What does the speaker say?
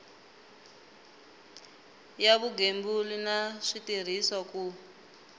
ya vugembuli na switirhiso ku